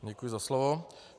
Děkuji za slovo.